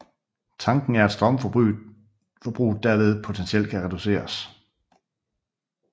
Tanken er at strømforbruget derved potentielt kan reduceres